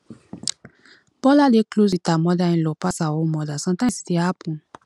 bola dey close with her mother inlaw pass her own mother sometimes e dey happen